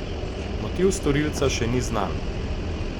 Motiv storilca še ni znan.